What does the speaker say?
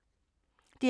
DR P2